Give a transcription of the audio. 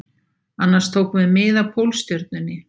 Annars tókum við mið af Pólstjörnunni